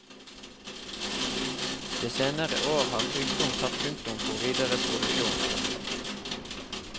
De senere år har sykdom satt punktum for videre produksjon.